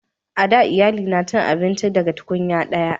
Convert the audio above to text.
a da iyalai na cin abinci daga tunkunya daya